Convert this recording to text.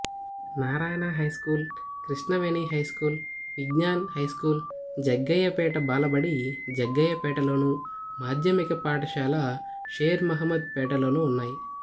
Narayana high school Krishnaveni high school Vignan high school Jaggayyapeta బాలబడి జగ్గయ్యపేటలోను మాధ్యమిక పాఠశాల షేర్ మొహమ్మద్ పేటలోనూ ఉన్నాయి